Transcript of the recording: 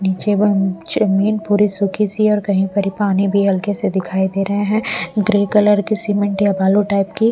जमीन पूरी सूखी सी और कहीं पर ही पानी भी हल्के से दिखाई दे रहे हैं ग्रे कलर की सीमेंट या बालू टाइप की--